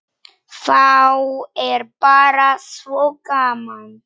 Þá er bara svo gaman.